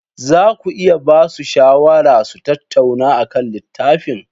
Za ku iya ba su shawarar su tattauna akan littafin?